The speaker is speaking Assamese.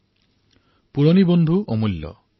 পুৰণি বন্ধুসমূহৰ নিজা এটা মূল্য আছে